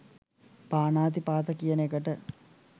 පාණාතිපාත කියන එකට.